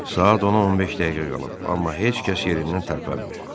Saat 10-a 15 dəqiqə qalıb, amma heç kəs yerindən tərpənmir.